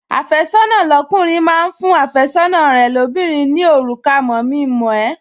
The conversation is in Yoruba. Àfẹ́sọ́nà lọ́kùnrin máa ń fún àfẹ́sọ́nà rẹ̀ lóbìnrin ní òrùka mọ̀-mi-mọ̀-ẹ́